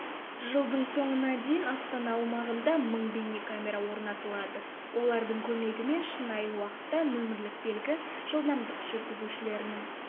жылдың соңына дейін астана аумағында мың бейнекамера орнатылады олардың көмегімен шынайы уақытта нөмерлік белгі жылдамдық жүргізушілердің